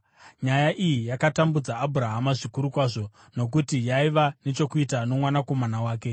Nyaya iyi yakatambudza Abhurahama zvikuru kwazvo nokuti yaiva nechokuita nomwanakomana wake.